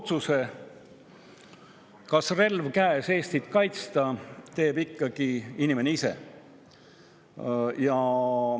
Otsuse kas, relv käes, Eestit kaitsta, teeb ikkagi inimene ise.